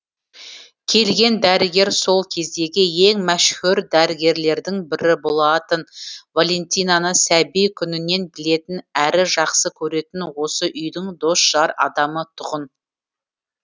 келген дәрігер сол кездегі ең мәшһүр дәрігерлердің бірі болатын валентинаны сәби күнінен білетін әрі жақсы көретін осы үйдің досжар адамы тұғын